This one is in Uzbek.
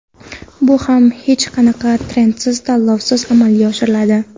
Bu ham hech qanaqa tendersiz, tanlovsiz amalga oshiriladi.